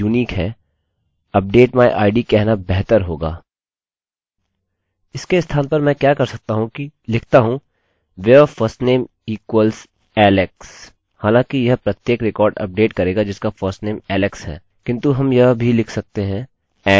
फिर भी यदि डेटाबेस में हमारे पास 2 लोग हैं जिनका firstname और lastname समान है हम पहले की ही तरह अभी भी वही जोखिम रन कर रहे हैं